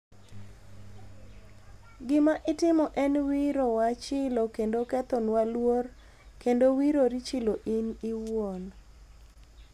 Gima itimo en wiro wa chilo kendo ketho nwa luor endo wiro ri chilo en owuon